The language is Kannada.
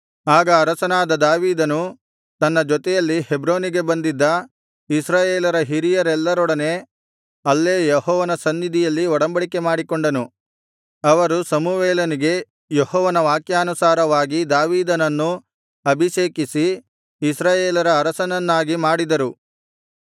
ಆಗ ಅರಸನಾದ ದಾವೀದನು ತನ್ನ ಜೊತೆಯಲ್ಲಿ ಹೆಬ್ರೋನಿಗೆ ಬಂದಿದ್ದ ಇಸ್ರಾಯೇಲರ ಹಿರಿಯರೆಲ್ಲರೊಡನೆ ಅಲ್ಲೇ ಯೆಹೋವನ ಸನ್ನಿಧಿಯಲ್ಲಿ ಒಡಂಬಡಿಕೆಮಾಡಿಕೊಂಡನು ಅವರು ಸಮುವೇಲನಿಗೆ ಯೆಹೋವನ ವಾಕ್ಯಾನುಸಾರವಾಗಿ ದಾವೀದನನ್ನು ಅಭಿಷೇಕಿಸಿ ಇಸ್ರಾಯೇಲರ ಅರಸನನ್ನಾಗಿ ಮಾಡಿದರು